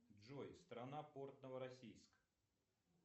джой страна порт новороссийск